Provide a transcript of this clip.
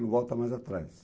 Não volta mais atrás.